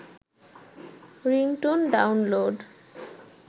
ringtone download